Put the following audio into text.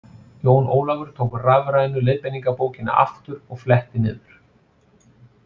Jón Ólafur tók rafrænu leiðbeiningarbókina aftur og fletti niður.